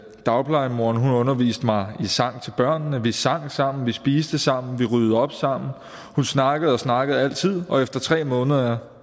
dagplejemoren underviste mig i sang til børnene vi sang sammen vi spiste sammen vi ryddede op sammen hun snakkede og snakkede altid og efter tre måneder